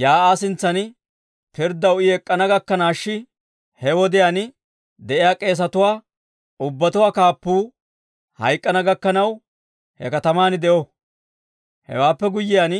Yaa'aa sintsan pirddaw I ek'k'ana gakkanaash he wodiyaan de'iyaa k'eesatuwaa ubbatuwaa kaappuu hayk'k'ana gakkanaw, he kataman de'o. Hewaappe guyyiyaan,